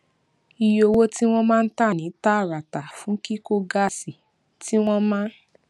iye owó tí wọn máa ń tà ní tààràtà fún kíkó gásì tí wọn máa ń